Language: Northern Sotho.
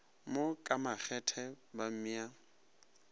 mo ka makgethe ba mmea